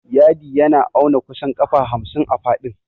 Yadi yana auna kusan ƙafa hamsin a faɗin.